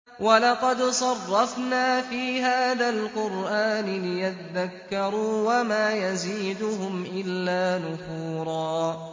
وَلَقَدْ صَرَّفْنَا فِي هَٰذَا الْقُرْآنِ لِيَذَّكَّرُوا وَمَا يَزِيدُهُمْ إِلَّا نُفُورًا